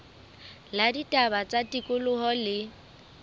la ditaba tsa tikoloho le